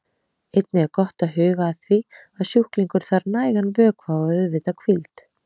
Einnig er gott að huga að því að sjúklingur þarf nægan vökva og auðvitað hvíld.